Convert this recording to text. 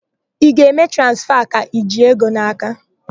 Ị ga-eme transfa ka i ji ego n'aka?